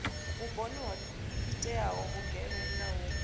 vhuponi ho iteaho vhugevhenga u